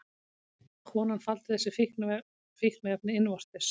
Konan faldi þessi fíkniefni innvortis